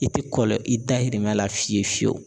I tɛ kɔlɔ i dayirimɛ la fiyewu fiyewu